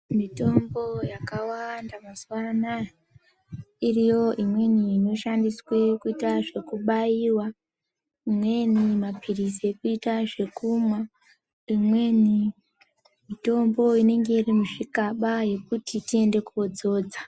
Mitombo yakawanda mazuva anaya iriyo imweni inoshandiswe kuita zvekubaiwa, imweni maphirizi ekuita zvekumwa, imweni mitombo inenge iri muzvigaba yekuti tiende kodzodza.